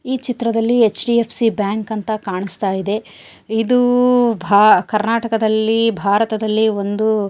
ಈ ಚಿತ್ರದಲ್ಲಿ HDFC bank ಅಂತ ಕಾಣಸ್ತಾಯಿದೆ ಇದು ಭಾ ಕರ್ನಾಟಕದಲ್ಲಿ ಭಾರತದಲ್ಲಿ ಒಂದು --